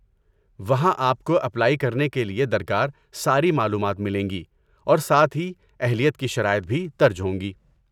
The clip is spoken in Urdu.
وہاں آپ کو اپلائی کرنے کے لیے درکار ساری معلومات ملیں گی اور ساتھ ہی اہلیت کی شرائط بھی درج ہوں گی۔